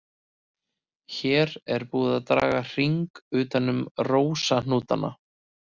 Hér er búið að draga hring utan um rósahnútana.